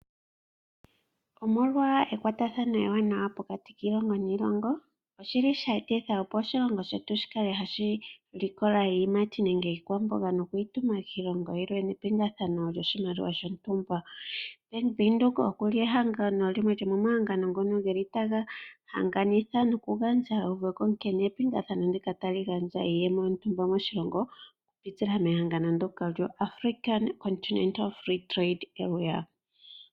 Omolwa ekwatathano ewanawa pokati kiilongo niilongo, oshe etitha opo oshilongo shetu shi kale hashi likola iiyimati nenge iikwamboga nokuyi tuma kiilongo yilwe nepingathano lyoshimaliwa shontumba. Bank Windhoek oku li ehengano limwe lyomomahangano ngono ge li taga hanganitha nokugandja euveko nkene epingathano ndika ta li gandja iiyemo yontumba moshilongo okupitila mehangano ndyoka lyoAfrican Continental Free Trade Area.